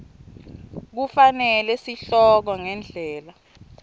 kufanele sihloko ngendlela